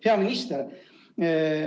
Hea minister!